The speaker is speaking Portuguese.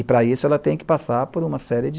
E, para isso, ela tem que passar por uma série de